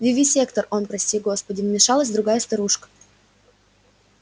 вивисектор он прости господи вмешалась другая старушка